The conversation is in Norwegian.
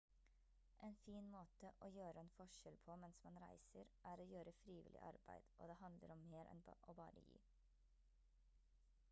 en fin måte å gjøre en forskjell på mens man reiser er å gjøre frivillig arbeid og det handler om mer enn å bare gi